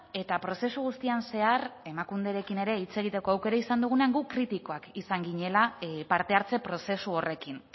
eta prozesu guztian zehar emakunderekin ere hitz egiteko aukera izan dugunean gu kritikoak izan ginela parte hartze prozesu horrekin